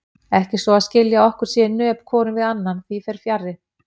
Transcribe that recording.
Ekki svo að skilja að okkur sé í nöp hvorum við annan, því fer fjarri.